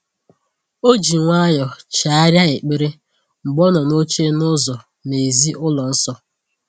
O ji nwayọ chegharịa ekpere mgbe ọ nọ n’oche n’ụzọ n’èzí ụlọ nsọ.